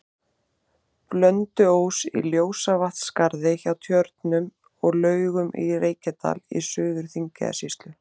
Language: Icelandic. Blönduós, í Ljósavatnsskarði hjá Tjörnum og Laugum í Reykjadal í Suður-Þingeyjarsýslu.